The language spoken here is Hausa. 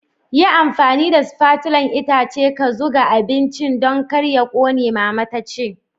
Yi amfani da spatulan itace ka zuga abincin Dan kar ya ƙone, mama ta ce.